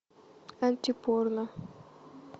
антипорно